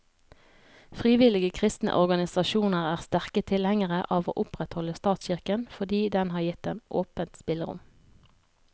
Frivillige kristne organisasjoner er sterke tilhengere av å opprettholde statskirken, fordi den har gitt dem åpent spillerom.